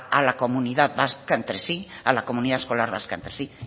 a la comunidad vasca entre sí a la comunidad escolar vasca entre sí